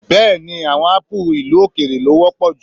Bẹ́ẹ̀ni, àwọn ápù ìlú-òkèèrè lọ wọ́pọ̀ jù